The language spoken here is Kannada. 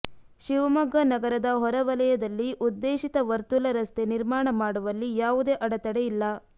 ಶಿವಮೊಗ್ಗ ನಗರದ ಹೊರವಲಯದಲ್ಲಿ ಉದ್ದೇಶಿತ ವರ್ತುಲ ರಸ್ತೆ ನಿರ್ಮಾಣ ಮಾಡುವಲ್ಲಿ ಯಾವುದೇ ಅಡತಡೆ ಇಲ್ಲ